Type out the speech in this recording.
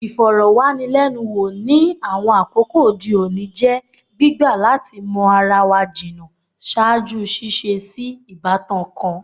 Ifọrọwanilẹnuwo, ni awọn akoko ode oni, jẹ gbigba lati mọ ara wa jinna ṣaaju ṣiṣe si ibatan kan